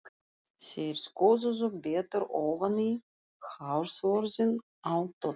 Þeir skoðuðu betur ofan í hársvörðinn á Tolla.